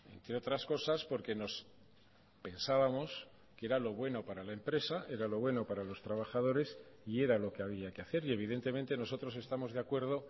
entre otras cosas porque nos pensábamos que era lo bueno para la empresa era lo bueno para los trabajadores y era lo que había que hacer y evidentemente nosotros estamos de acuerdo